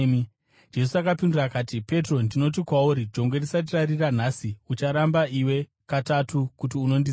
Jesu akapindura akati, “Petro, ndinoti kwauri, jongwe risati rarira nhasi, ucharamba iwe katatu, kuti unondiziva.”